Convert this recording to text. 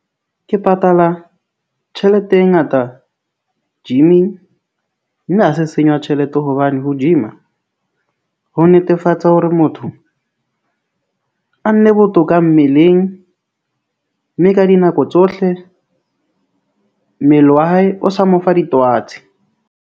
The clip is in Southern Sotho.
Ke patala tjhelete e ngata gym-ing mme ha se senyo ya tjhelete, hobane ho gym-a ho netefatsa hore motho a nne botoka mmeleng, mme ka dinako tsohle , mmele wa hae o sa mo fa ditwatsi.